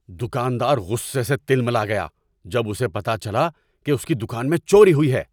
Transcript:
دکاندار غصے سے تلملا گیا جب اسے پتہ چلا کہ اس کی دکان میں چوری ہوئی ہے۔